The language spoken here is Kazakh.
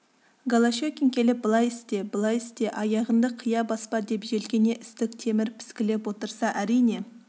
голощекин келіп былай істе былай істе аяғыңды қия баспа деп желкеңе істік темір піскілеп отырса әрине